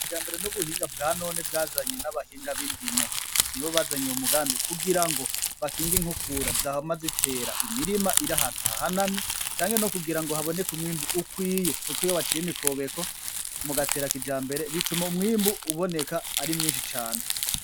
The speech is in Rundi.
Ijambere n'ubuhinga bwanone bwazanywe n'abahinga b'indimo, nibo bazanye uyo mugabi, kugira ngo bakinge inkukura zama zitera imirima iri ahantu hahanamye, canke nokugira haboneke umwibu ukwiye, kuko iyo baciye imikobeko mugatera kijambere bituma umwibu uboneka ari mwinshi cane.